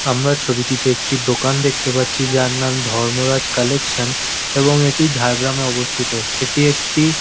আমরা ছবিটিতে একটি দোকান দেখতে পাচ্ছি যার নাম ধর্মরাজ কালেকশন এবং এটি ঝাড়গ্রামে অবস্থিত। এটি একটি--